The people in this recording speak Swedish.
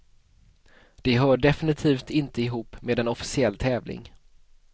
De hör definitivt inte ihop med en officiell tävling.